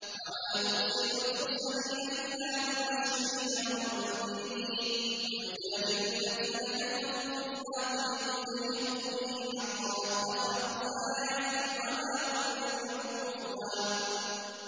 وَمَا نُرْسِلُ الْمُرْسَلِينَ إِلَّا مُبَشِّرِينَ وَمُنذِرِينَ ۚ وَيُجَادِلُ الَّذِينَ كَفَرُوا بِالْبَاطِلِ لِيُدْحِضُوا بِهِ الْحَقَّ ۖ وَاتَّخَذُوا آيَاتِي وَمَا أُنذِرُوا هُزُوًا